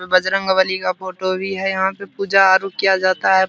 बजरंग बली का फोटो भी है यहाँ पे पूजा आरु किया जाता है।